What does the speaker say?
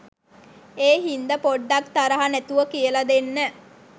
ඒ හින්ද පොඩ්ඩක් තරහ නැතුව කියල දෙන්න.